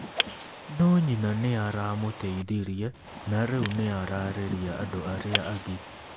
No nyina nĩ aamũteithirie, na rĩu nĩ araarĩria andũ arĩa angĩ.